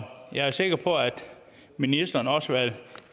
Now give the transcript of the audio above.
jeg er sikker på at ministeren også